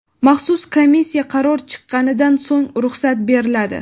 maxsus komissiya qaror chiqqanidan so‘ng ruxsat beriladi.